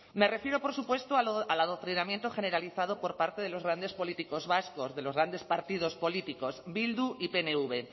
me refiero por supuesto al adoctrinamiento generalizado por parte de los grandes políticos vascos de los grandes partidos políticos bildu y pnv